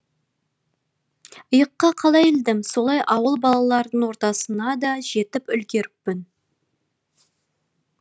иыққа қалай ілдім солай ауыл балаларының ортасына да жетіп үлгеріппін